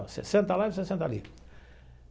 Você senta lá e você senta ali.